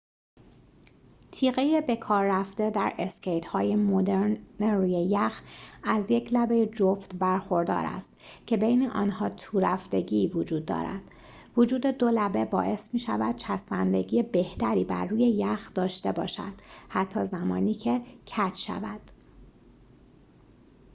تیغه بکاررفته در اسکیت‌های مدرن روی یخ از یک لبه جفت برخوردار است که بین آنها تورفتگی وجود دارد وجود دو لبه باعث می‌شود چسبندگی بهتری بر روی یخ داشته باشد حتی زمانی که کج شود